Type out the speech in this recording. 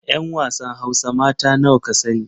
'Yan wasan hausa mata nawa ka sani